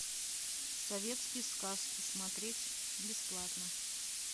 советские сказки смотреть бесплатно